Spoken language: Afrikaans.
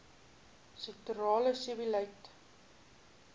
sektorale sebbeleid